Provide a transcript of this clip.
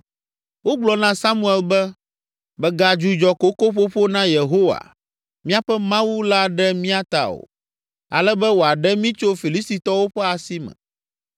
Wogblɔ na Samuel be, “Mègadzudzɔ kokoƒoƒo na Yehowa, míaƒe Mawu la ɖe mía ta o, ale be wòaɖe mí tso Filistitɔwo ƒe asi me.”